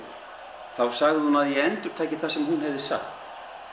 þá sagði hún að ég endurtæki það sem hún hafði sagt